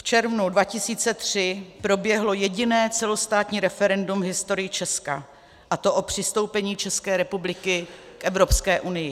V červnu 2003 proběhlo jediné celostátní referendum v historii Česka, a to o přistoupení České republiky k Evropské unii.